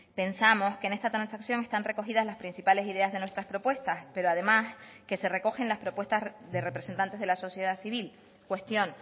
pensamos que en esta transacción están recogidas las principales ideas de nuestras propuestas pero además que se recogen las propuestas de representantes de la sociedad civil cuestión